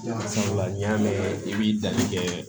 Sabula n'i y'a mɛn i b'i danni kɛ